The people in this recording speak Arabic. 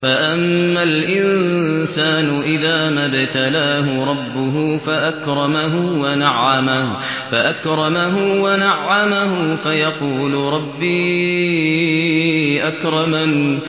فَأَمَّا الْإِنسَانُ إِذَا مَا ابْتَلَاهُ رَبُّهُ فَأَكْرَمَهُ وَنَعَّمَهُ فَيَقُولُ رَبِّي أَكْرَمَنِ